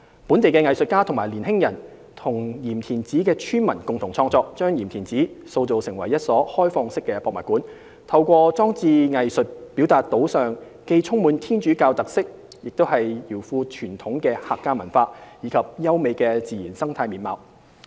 本地藝術家及年輕人與鹽田梓村民共同創作，將鹽田梓塑造成一所"開放式的博物館"，透過裝置藝術表達島上既充滿天主教特色又饒富傳統的客家文化，以及優美的自然生態面貌。